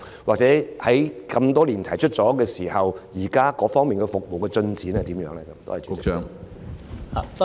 或者，多年前提出有關建議後，現時該項服務有何進展？